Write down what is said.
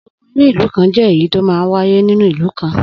Ogun inú ìlú kan jẹ́ èyí tó máa ń wáyé nínú ìlú kan.